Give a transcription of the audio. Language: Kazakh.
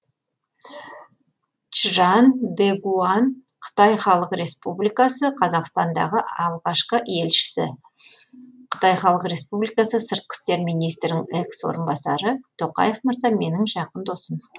чжан дэгуан қытай халық республикасы қазақстандағы алғашқы елшісі қытай халық республикасы сыртқы істер министрінің экс орынбасары тоқаев мырза менің жақын досым